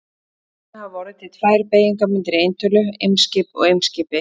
Þannig hafa orðið til tvær beygingarmyndir í eintölu: Eimskip og Eimskipi.